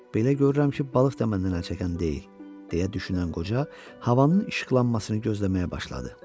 Belə görürəm ki, balıq da məndən əl çəkən deyil, deyə düşünən qoca, havanın işıqlanmasını gözləməyə başladı.